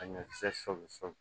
A ɲɔkisɛ sɔ sɔ